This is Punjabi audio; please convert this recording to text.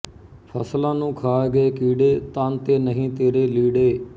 ਫ਼ਸਲਾਂ ਨੂੰ ਖਾ ਗਏ ਕੀੜੇ ਤਨ ਤੇ ਨਹੀਂ ਤੇਰੇ ਲੀੜੇ